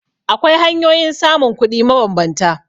Akwai hanyoyin samun kuɗi mabambanta.